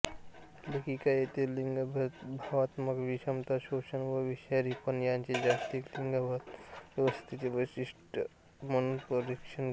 लेखिका येथे लिंगभावात्मक विषमता शोषण व विषारीपण यांचे जागतिक लिंगभावात्मक व्यवस्थेचे वैशिष्ट्य म्हणून परीक्षण करतात